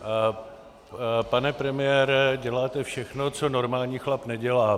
Pane premiére, děláte všechno, co normální chlap nedělá.